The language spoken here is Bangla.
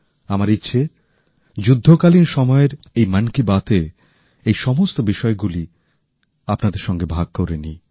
আমার ইচ্ছে যুদ্ধকালীন সময়ের এই মন কি বাতে এই সমস্ত বিষয়গুলিই আপনাদের সঙ্গে ভাগ করে নিই